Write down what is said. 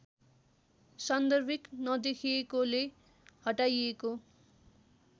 सान्दर्भिक नदेखिएकोले हटाइएको